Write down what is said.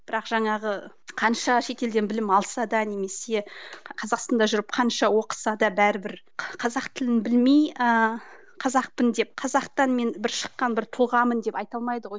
бірақ жаңағы қанша шетелден білім алса да немесе қазақстанда жүріп қанша оқыса да бәрібір қазақ тілін білмей ыыы қазақпын деп қазақтан мен бір шыққан бір тұлғамын деп айта алмайды ғой